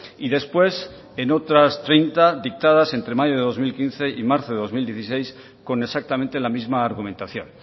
y después en otras treinta dictadas entre mayo de dos mil quince y marzo de dos mil dieciséis con exactamente la misma argumentación